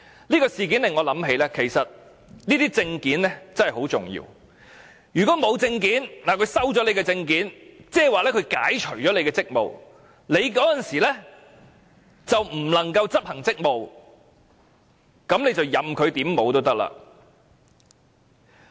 這事件令我想到這些證件真的很重要，如果沒有證件或被沒收證件，等於被解除職務，屆時港方人員便不能執行職務，任由擺布了。